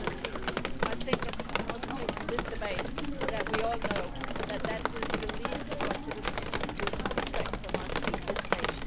2013. I also take from this debate that we all know that that is the least our citizens would expect from us at this stage.